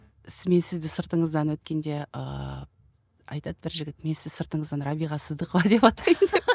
мен сізді сыртыңыздан өткенде ыыы айтады бір жігіт мен сізді сыртыңыздын рабиға сыздықова деп атаймын деп